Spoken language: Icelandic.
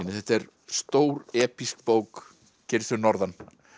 þetta er stór bók gerist fyrir norðan